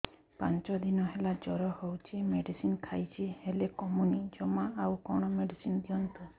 ପାଞ୍ଚ ଦିନ ହେଲା ଜର ହଉଛି ମେଡିସିନ ଖାଇଛି ହେଲେ କମୁନି ଜମା ଆଉ କଣ ମେଡ଼ିସିନ ଦିଅନ୍ତୁ